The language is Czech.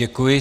Děkuji.